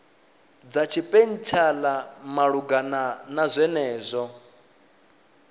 dza tshipentshela malugana na zwenezwo